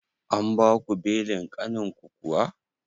An baku belin ƙanin ku kuwa?